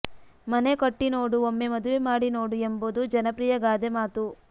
ಮನೆ ಕಟ್ಟಿ ನೋಡು ಒಮ್ಮೆ ಮದುವೆ ಮಾಡಿ ನೋಡು ಎಂಬುದು ಜನಪ್ರಿಯ ಗಾದೆ ಮಾತು